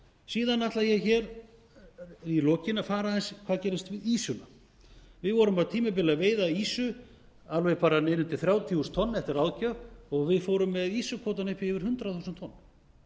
síðan ætla ég hér í lokin að fara aðeins hvað gerðist með ýsuna við vorum á tímabili að veiða ýsu alveg bara niður undir þrjátíu þúsund tonn eftir ráðgjöf og við fórum með ýsukvótann upp í yfir hundrað þúsund tonn